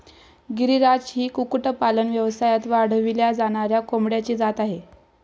गिरीराज ही कुक्कुटपालन व्यवसायात वाढविल्या जाणाऱ्या कोंबड्यांची जात आहे.